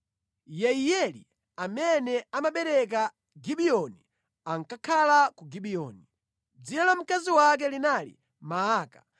Yeiyeli amene amabereka Gibiyoni ankakhala ku Gibiyoni. Dzina la mkazi wake linali Maaka,